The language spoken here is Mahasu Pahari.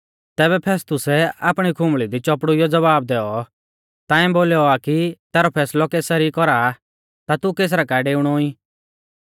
तैबै फेस्तुसै आपणी खुंबल़ी दी चौपड़ुइयौ ज़वाब दैऔ ताऐं बोलौ आ कि तैरौ फैसलौ कैसर ई कौरा ता तू कैसरा काऐ डेउणौ ई